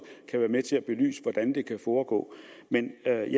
kan være med til at belyse hvordan det foregår men jeg